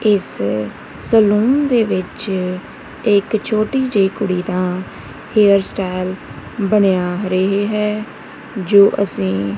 ਇਸ ਸਲੂਨ ਦੇ ਵਿੱਚ ਇੱਕ ਛੋਟੀ ਜੇਹੀ ਕੁੜੀ ਦਾ ਹੇਅਰ ਸਟਾਈਲ ਬਣਿਆ ਰਹੀ ਹੈ ਜੋ ਅਸੀ--